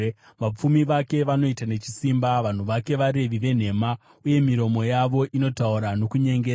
Vapfumi vake vanoita nechisimba; vanhu vake varevi venhema, uye miromo yavo inotaura nokunyengera.